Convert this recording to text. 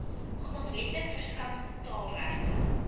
grondwetlik verskanste taalregte